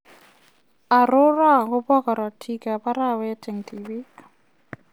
Aroru agobo gorotiik ab arawet en tibiik.